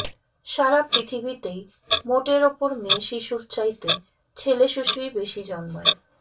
সারা পৃথিবীতেই মোটের ওপর মেয়ে শিশুর চাইতে ছেলে শিশুই বেশি জন্মায়